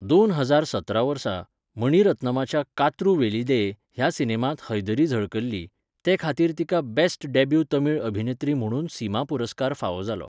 दोन हजार सतरा वर्सा, मणि रत्नमाच्या 'कात्रु वेलीदेय' ह्या सिनेमांत हैदरी झळकल्ली, ते खातीर तिका बॅस्ट डॅब्यू तमिळ अभिनेत्री म्हुणून सिमा पुरस्कार फावो जालो.